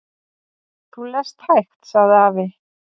"""Þú lest hægt, sagði afi."""